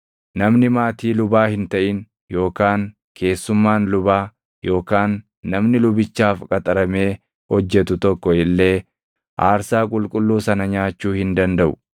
“ ‘Namni maatii lubaa hin taʼin yookaan keessummaan lubaa yookaan namni lubichaaf qaxaramee hojjetu tokko illee aarsaa qulqulluu sana nyaachuu hin dandaʼu.